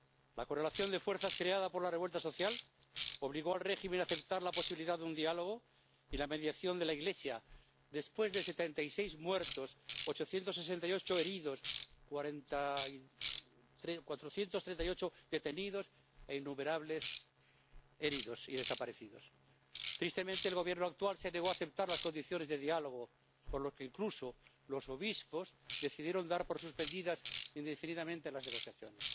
La correlación de fuerzas creada por la revuelta social obligó al régimen a aceptar la posibilidad de un diálogo y la mediación de la Iglesia, después de 76 muertos, 868 heridos, 438 detenidos e innumerables heridos y desaparecidos. Tristemente, el Gobierno actual se negó a aceptar las condiciones de diálogo, por lo que incluso los obispos decidieron dar por suspendidas indefinidamente las negociaciones.